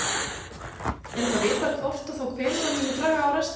Er eitthvað vitað hvort og þá hvenær hann muni draga á restina?